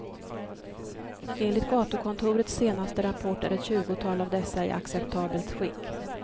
Enligt gatukontorets senaste rapport är ett tjugotal av dessa i acceptabelt skick.